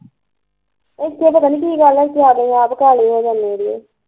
ਇੱਥੇ ਪਤਾ ਨੀ ਗੱਲ ਆ ਇੱਥੇ ਆ ਕੇ ਮੈਂ ਆਪ ਕਾਲੀ ਹੋ ਜਾਂਦੀ ਆ ਦੀ